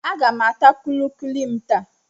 Aga m ata kulikuli m taa.